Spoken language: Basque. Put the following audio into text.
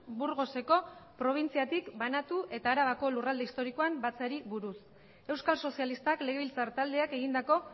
burgoseko probintziatik banatu eta arabako lurralde historikoan batzeari buruz euskal sozialistak legebiltzar taldeak egindako